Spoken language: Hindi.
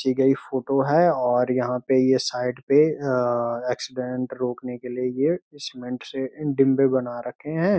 खींची गई फोटो है और यहाँ पे ये साइड पे ऐक्सीडेंट रोकने के लिए ये सीमेंट से डिंबे बना रखे हैं।